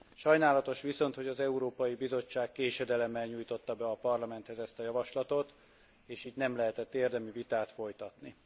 Sajnálatos viszont, hogy az Európai Bizottság késedelemmel nyújtotta be a Parlamenthez ezt a javaslatot, és itt nem lehetett érdemi vitát folytatni.